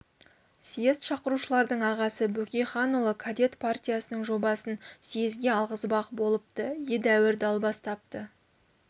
съезд шақырушылардың ағасы бөкейханұлы кадет партиясының жобасын съезге алғызбақ болыпты едәуір далбастапты